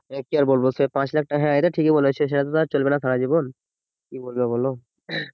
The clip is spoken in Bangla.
কি আর বলবো সে পাঁচ লাখ টাকা হ্যাঁ এটা ঠিক বলছে সেটা তো চলবে না সারা জীবন কি বলবে বলো উম